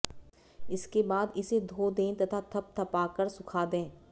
इसके बाद इसे धो दें तथा थपथपा कर सुखा दें